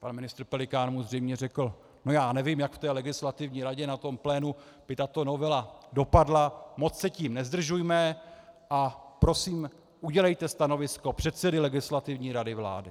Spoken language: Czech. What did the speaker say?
pan ministr Pelikán mu zřejmě řekl - no já nevím, jak v té Legislativní radě na tom plénu by tato novela dopadla, moc se tím nezdržujme a prosím, udělejte stanovisko předsedy Legislativní rady vlády.